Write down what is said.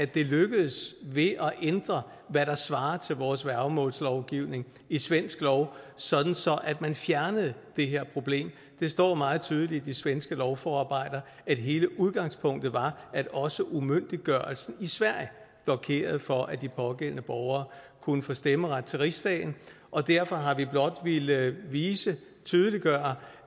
det lykkedes ved at ændre hvad der svarer til vores værgemålslovgivning i svensk lov sådan at man fjernede det her problem det står meget tydeligt i de svenske lovforarbejder at hele udgangspunktet var at også umyndiggørelse i sverige blokerede for at de pågældende borgere kunne få stemmeret til riksdagen og derfor har vi blot villet vise og tydeliggøre